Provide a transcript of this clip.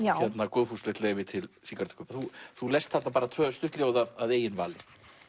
góðfúslegt leyfi til sígarettukaupa þú lest þarna tvö stutt ljóð að eigin vali